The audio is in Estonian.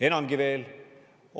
Enamgi veel.